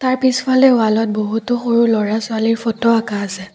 পিছফালে ৱালত বহুতো সৰু ল'ৰা ছোৱালীৰ ফটো অঁকা আছে।